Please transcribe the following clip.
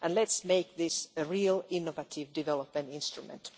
Let us make this a real innovative development instrument.